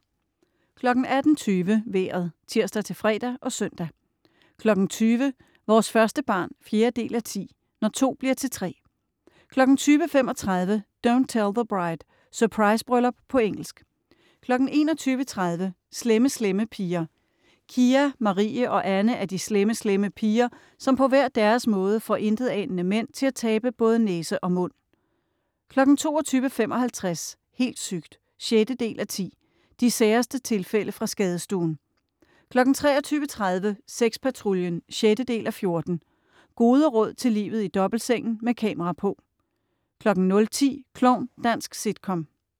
18.20 Vejret (tirs-fre og søn) 20.00 Vores første barn 4:10. Når to bliver til tre 20.35 Don't Tell the Bride. Surprisebryllup på engelsk 21.30 Slemme Slemme Piger. Kia, Marie og Anne er de slemme slemme piger, som på hver deres måde får intetanende mænd til at tabe både næse og mund 22.55 Helt sygt! 6:10. De særeste tilfælde fra skadestuen 23.30 Sexpatruljen 6:14. Gode råd til livet i dobbeltsengen, med kamera på 00.10 Klovn. Dansk sitcom